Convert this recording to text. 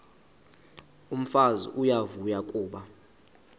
umfazi uyavuya kuba